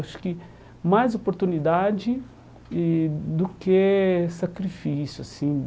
Acho que mais oportunidade e do que sacrifício assim.